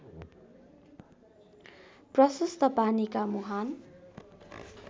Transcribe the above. प्रशस्त पानीका मुहान